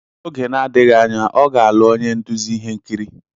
N'oge na-adịghị anya, ọ ga-alụ onye nduzi ihe nkiri.